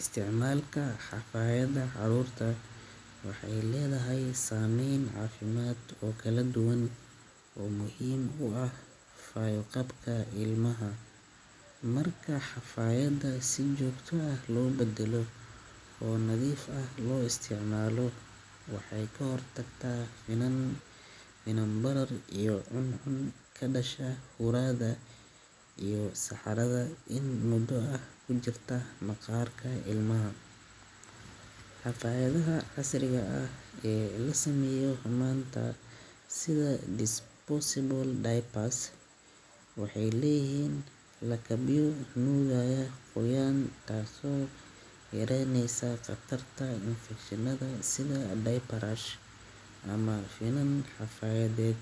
isticmalka Hafayada caruurta waxay leedahay sameyn caafimaad oo kala duwan. Oo muhiim u ah fayo-qabka ilmaha. Markaa xafaayadda si joogto ah loo beddelo oo nadiif ah loo isticmaalo, waxay ka hortagtaa finan, finan barar iyo cun cun ka dhasha huraada iyo saxarada in mudo ah ku jirto maqaarka ilmaha. Xafaayadda casriga ah ee la sameeyo xumaanta sida disposable diapers waxay leeyihiin la kabio nuugaya qoyaan taasoo yaraaneysaa khatarta infekshinada sida diaper rash ama finan xafaayadeed.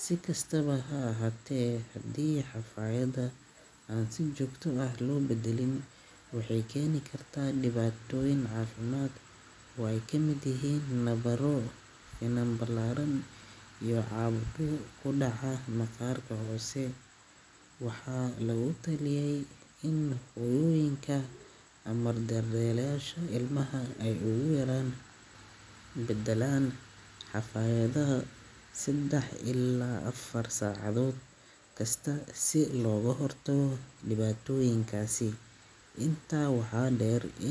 Si kastaba ha ahaatee, haddii xafaayadda aan si joogto ah loo beddelin waxay keeni kartaa dhibaatooyin caafimaad. Waa ay ka mid yihiin nabaro, finan ballaaran iyo cabku ku dhaca maqaarka hoose. Waxaa lagu taliyay in quyuuyinka amarda reer Leesho ilmaha ay ugu yaraan. Beddelan xafaayadda saddex illaa afar saacadood kasta si looga hortago dibaddooyinkaasi. Intaa waxaa dheer in-